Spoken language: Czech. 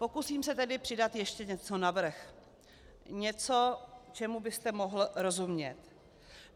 Pokusím se tedy přidat ještě něco navrch, něco, čemu byste mohl rozumět.